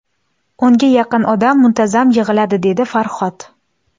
O‘nga yaqin odam muntazam yig‘iladi”, - dedi Farhod.